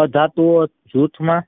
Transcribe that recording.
અધાતુઓ જૂથમાં